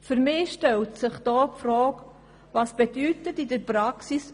Doch was bedeutet Verwaltungsverbindlichkeit in der Praxis?